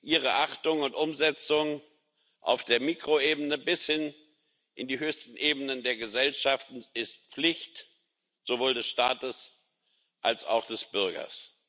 Ihre Achtung und Umsetzung auf der Mikroebene bis hin in die höchsten Ebenen der Gesellschaften ist Pflicht, sowohl des Staates als auch des Bürgers.